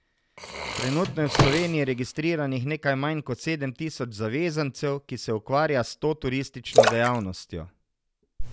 Trenutno je v Sloveniji registriranih nekaj manj kot sedem tisoč zavezancev, ki se ukvarja s to turistično dejavnostjo.